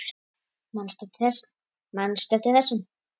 Manstu eftir þessum?